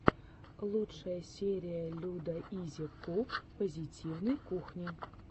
лучшая серия людаизикук позитивной кухни